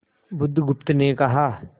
बुधगुप्त ने कहा